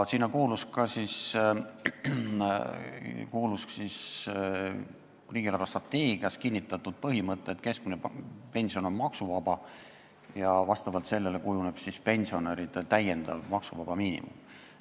Sinna hulka kuulus ka riigi eelarvestrateegias kinnitatud põhimõte, et keskmine pension on maksuvaba ja vastavalt sellele kujuneb pensionäride täiendav maksuvaba miinimum.